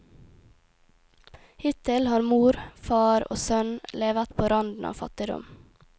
Hittil har mor, far og sønn levet på randen av fattigdom.